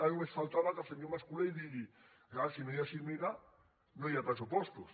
ara només faltava que el senyor mas colell digués és clar si no hi ha cimera no hi ha pressupostos